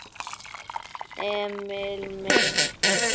Emil minn!